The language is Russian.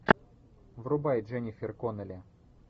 врубай дженнифер коннелли